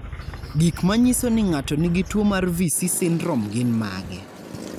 Gik manyiso ni ng'ato nigi tuwo mar Vici syndrome gin mage?